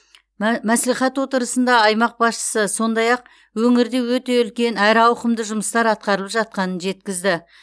мә мәслихат отырысында аймақ басшысы сондай ақ өңірде өте үлкен әрі ауқымды жұмыстар атқарылып жатқанын жеткізді